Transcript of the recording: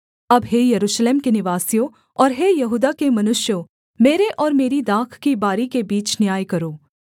अब हे यरूशलेम के निवासियों और हे यहूदा के मनुष्यों मेरे और मेरी दाख की बारी के बीच न्याय करो